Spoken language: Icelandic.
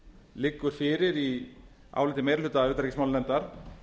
liggur fyrir í áliti meiri hluta utanríkismálanefndar